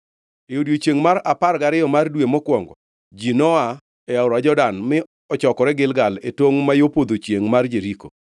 E odiechiengʼ mar apar gariyo mar dwe mokwongo, ji noa e aora Jordan mi ochokore Gilgal e tongʼ ma yo podho chiengʼ mar Jeriko.